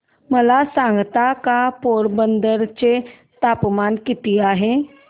मला सांगता का पोरबंदर चे तापमान किती आहे